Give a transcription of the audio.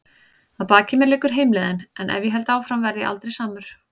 Að baki mér liggur heimleiðin- en ef ég held áfram verð ég aldrei samur.